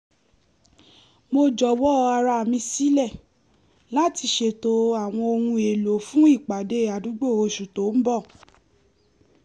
mo jọ̀wọ́ ara mi sílẹ láti ṣètò àwọn ohun èlò fún ìpàdé àdúgbò oṣù tó ń bọ̀